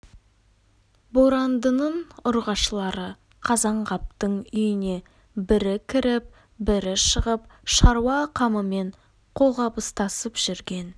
борандының ұрғашылары қазанғаптың үйіне бірі кіріп бірі шығып шаруа қамымен қолғабыстасып жүрген